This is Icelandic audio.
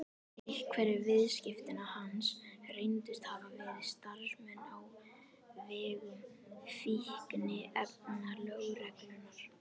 Einhverjir viðskiptavina hans reyndust hafa verið starfsmenn á vegum fíkniefnalögreglunnar.